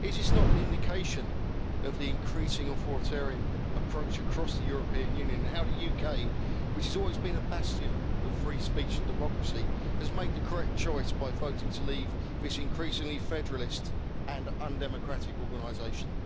Is it not an indication of the increasing authoritarian approach across the European Union and of the fact that the UK, which has always been a bastion of free speech and democracy, has made the correct choice by voting to leave this increasingly federalist and undemocratic organisation?